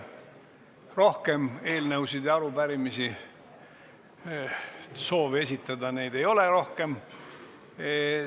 Rohkem kellelgi soovi esitada eelnõusid või arupärimisi ei ole.